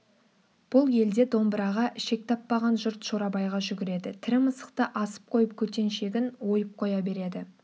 бұл елде домбыраға ішек таппаған жұрт шорабайға жүгіреді тірі мысықты асып қойып көтеншегін ойып қоя береді